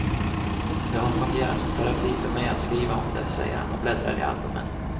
Det har fungerat som terapi för mig att skriva om det, säger han och bläddrar i albumen.